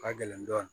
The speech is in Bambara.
Ka gɛlɛn dɔɔnin